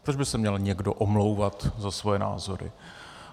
Proč by se měl někdo omlouvat za svoje názory?